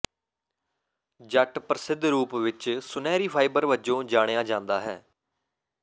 ਜੱਟ ਪ੍ਰਸਿੱਧ ਰੂਪ ਵਿੱਚ ਸੁਨਹਿਰੀ ਫਾਈਬਰ ਵਜੋਂ ਜਾਣਿਆ ਜਾਂਦਾ ਹੈ